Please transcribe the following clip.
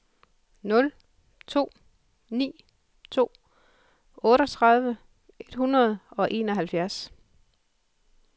nul to ni to otteogtredive et hundrede og enoghalvfjerds